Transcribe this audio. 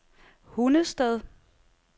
Hundested